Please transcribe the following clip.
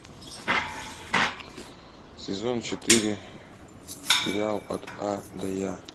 сезон четыре сериал от а до я